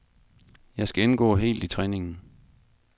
Jeg skal indgå helt i træningen.